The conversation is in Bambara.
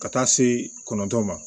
Ka taa se kɔnɔntɔn ma